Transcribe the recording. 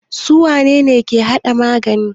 Su wane ne ke hada magani?